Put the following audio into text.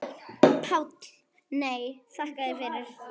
PÁLL: Nei, þakka þér fyrir.